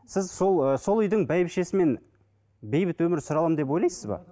сіз сол ы сол үйдің бәйбішесімен бейбіт өмір сүре аламын деп ойлайсыз ба